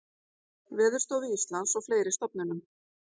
Veðurstofu Íslands og fleiri stofnunum.